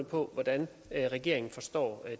på hvordan regeringen forstår